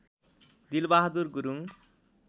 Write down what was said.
Dilbahadur Gurung